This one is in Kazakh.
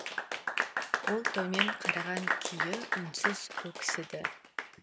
ол төмен қараған күйі үнсіз өксіді